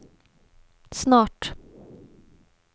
snart